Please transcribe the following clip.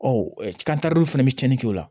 Ɔ fɛnɛ bɛ cɛnni kɛ o la